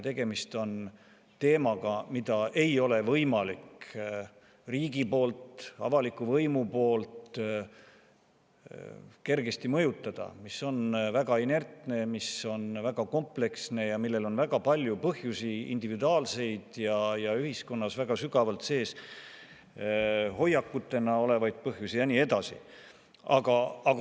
Tegemist on teemaga, mida riigil, avalikul võimul ei ole võimalik kergesti mõjutada, see teema on väga inertne, see on väga kompleksne ja sellel on väga palju põhjusi – nii individuaalseid kui ka ühiskonnas hoiakutena väga sügavalt sees olevaid ja nii edasi.